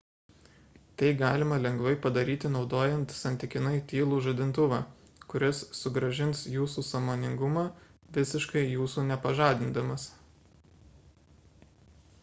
tai galima lengvai padaryti naudojant santykinai tylų žadintuvą kuris sugrąžins jūsų sąmoningumą visiškai jūsų nepažadindamas